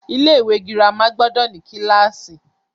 Ilé ìwé girama gbọdọ̀ ní kílàsì.